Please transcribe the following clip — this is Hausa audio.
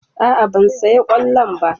A'a ban saya kollon ba.